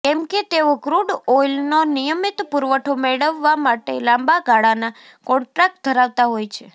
કેમ કે તેઓ ક્રૂડ ઑઇલનો નિયમિત પૂરવઠો મેળવવા માટે લાંબા ગાળાના કોન્ટ્રાક્ટ ધરાવતા હોય છે